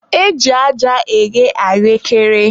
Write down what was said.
e ji aja eghe ahụekere.